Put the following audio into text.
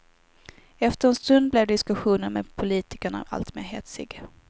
Efter en stund blev diskussionen med politikerna alltmer hetsig.